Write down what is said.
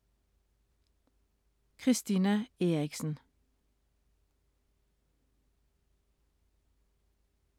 Christina Eriksen